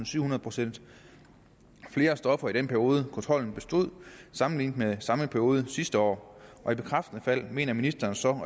syvhundrede procent flere stoffer i den periode kontrollen bestod sammenlignet med samme periode sidste år og i bekræftende fald mener ministeren så